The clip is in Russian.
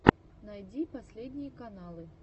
найди последние каналы